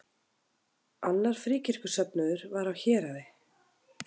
Annar fríkirkjusöfnuður var á Héraði.